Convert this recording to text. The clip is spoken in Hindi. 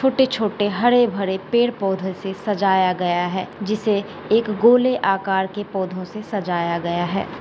छोटे-छोटे हरे-भरे पेड़-पौंधो से सजाया गया है। जिसे एक गोले आकार के पौंधो से सजाया गया है।